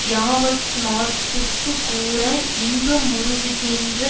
யாவட்மாற்றுக்குக் கூற இன்பமுறுவிக்கின்ற